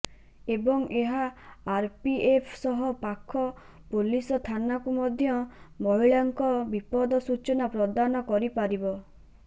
ଏବଂ ଏହା ଆରପିଏଫ ସହ ପାଖ ପୋଲିସ ଥାନାକୁ ମଧ୍ୟ ମହିଳାଙ୍କ ବିବଦ ସୂଚନା ପ୍ରଦାନ କରିପାରିବ